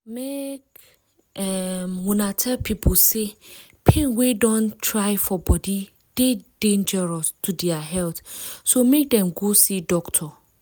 make um una tell pipo say pain wey don try for body dey dangerous to dia health so make them go see doctor